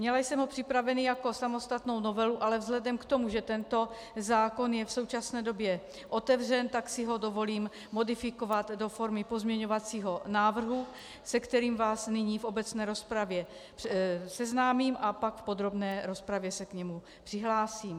Měla jsem ho připravený jako samostatnou novelu, ale vzhledem k tomu, že tento zákon je v současné době otevřen, tak si ho dovolím modifikovat do formy pozměňovacího návrhu, se kterým vás nyní v obecné rozpravě seznámím a pak v podrobné rozpravě se k němu přihlásím.